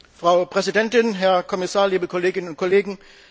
Frau Präsidentin, Herr Kommissar, liebe Kolleginnen und Kollegen!